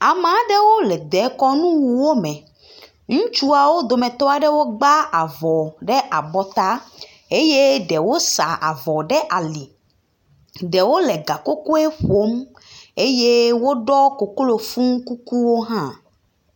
Ame aɖewo le dekɔnuwuwo me. Ŋutsuawo dometɔ aɖewo gbã avɔ ɖe abɔta eye ɖewo sa avɔ ɖe ali. Ɖewo le gakokoe ƒom eye woɖɔ koklofu kukuwo hã.